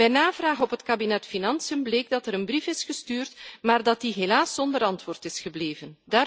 Bij navraag op het kabinet Financiën bleek dat er een brief is gestuurd, maar dat die helaas zonder antwoord is gebleven.